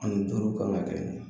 Ani duuru kan ka kɛ nin ye